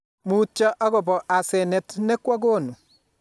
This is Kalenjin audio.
Mutyo akoba asenet ne kwagonu